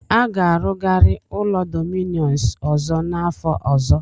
A ga-arụgari ụlọ Dominus ọzọ n'afọ ọzọ.